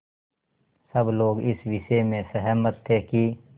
सब लोग इस विषय में सहमत थे कि